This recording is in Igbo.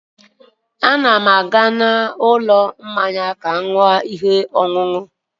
A na m aga n'ụlọ mmanya ka m ṅụọ ihe ọṅụṅụ